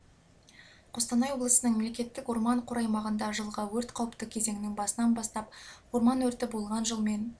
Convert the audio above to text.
қостанай облысының мемлекеттік орман қоры аймағында жылғы өрт қауіпті кезеңнің басынан бастап орман өрті болған жылмен